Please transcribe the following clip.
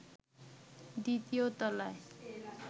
দ্বিতীয় তলায়